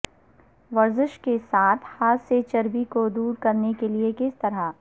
ورزش کے ساتھ ہاتھ سے چربی کو دور کرنے کے لئے کس طرح